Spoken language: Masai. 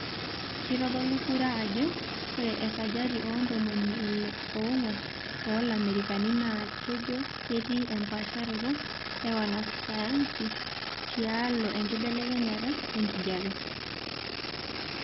Keitodolu kura ajo ore esajata oontomoni ile oongwan oolamerikani naa kejo ketii empaasharoto e wanasayansi tialo enkibelekenyata enkijiepe.